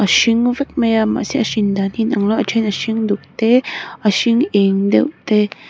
a hring vek mai a mahse a hrin dan hi a inang lo a a then a hring duk te a hring eng deuh te--